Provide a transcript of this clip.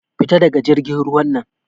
Fita daga jirgin ruwan nan!